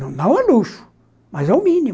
Não é luxo, mas é o mínimo.